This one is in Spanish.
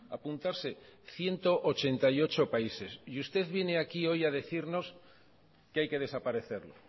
apuntarse ciento ochenta y ocho países y usted viene aquí hoy a decirnos que hay que desaparecerlo